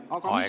Aeg!